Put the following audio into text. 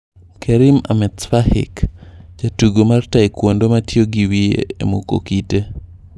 Kerim Ahmetspahic: Jatugo mar taekwondo matiyo gi wiye e muko kite